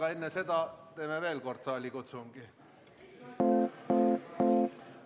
Aga enne seda lülitame veel kord sisse saalikutsungi.